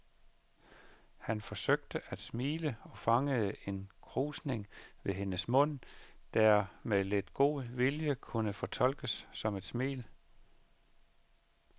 Han forsøgte at smile og fangede en krusning ved hendes mund, der med lidt god vilje kunne fortolkes som et smil.